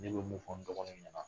Ne be mun fɔ n dɔgɔminw ɲɛna